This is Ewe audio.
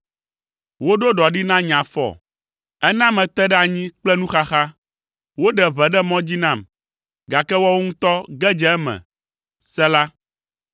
Woɖo ɖɔ ɖi na nye afɔ, ena mete ɖe anyi kple nuxaxa. Woɖe ʋe ɖe mɔ dzi nam, gake woawo ŋutɔ ge dze eme. Sela